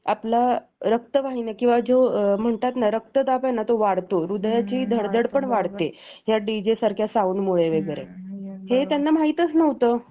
आपल्या रक्तवाहिन्या किंवा म्हणतात ना रक्त दाब आहे ना तो वाढतो हृदयाची धडधड पण वाढते या DJ सारखे साऊंड मुळे वैगरे हे त्यांना माहीतच नव्हतं